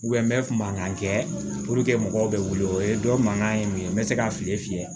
n bɛ mankan kɛ mɔgɔw bɛ wuli o ye dɔ mankan ye mun ye n bɛ se ka fili fiyɛ